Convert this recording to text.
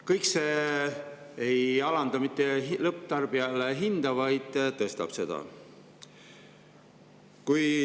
Kõik see ei alanda lõpptarbijale hinda, vaid tõstab seda.